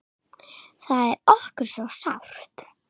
Það er okkur svo sárt.